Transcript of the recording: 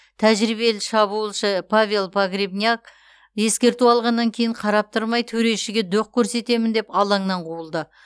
тәжірибелі шабуылшы павел погребняк ескерту алғаннан кейін қарап тұрмай төрешіге доқ көрсетемін деп алаңнан қуылды